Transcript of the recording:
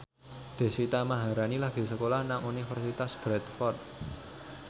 Deswita Maharani lagi sekolah nang Universitas Bradford